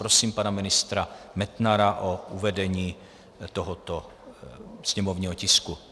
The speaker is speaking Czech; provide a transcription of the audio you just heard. Prosím pana ministra Metnara o uvedení tohoto sněmovního tisku.